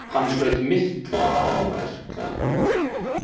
Hann hlaut mikla áverka.